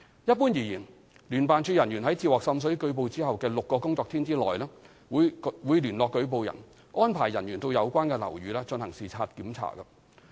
一般而言，聯辦處人員在接獲滲水舉報後的6個工作天內，會聯絡舉報人，安排人員到有關樓宇進行視察檢查。